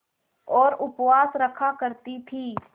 और उपवास रखा करती थीं